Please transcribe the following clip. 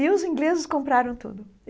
E os ingleses compraram tudo.